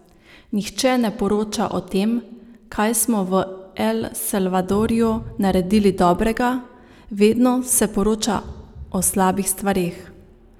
Nihče ne poroča o tem, kaj smo v El Salvadorju naredili dobrega, vedno se poroča o slabih stvareh.